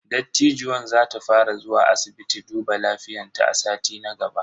Dattijuwan za ta fara zuwa asibiti duba lafiyan ta a sati na gaba.